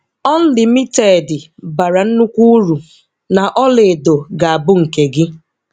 Ọnlimitedi bara nnukwu uru na ọlaedo ga-abụ nke gị!